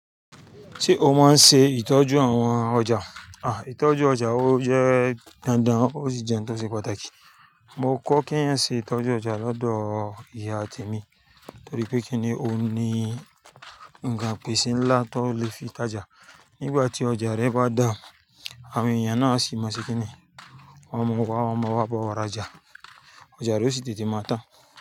Ṣé o máa ń ṣe ìtọ́jú àwọn ọjà? Ìtọ́jú ọjà ó jẹ́ dandan, ó sì jẹ́ n tó ṣe pàtàkì. Mo kọ́ keyàn ṣe ìtọ́jú ọjà lọ́dọ̀ ìyá temi torí pé kíni ó ní nǹkan pèsè ńlá tó lè fi tajà. Nígbà tí ọjà rẹ bá dà, àwọn èèyàn náà sì má ṣe kíni? Wọ́n mọ wá, wọ́n mọ wá bọ̀ ra jà. Ọjà rẹ ó sì tètè máa tán.